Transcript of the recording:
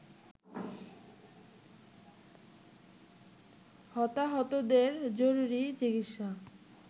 হতাহতদের জরুরি চিকিৎসা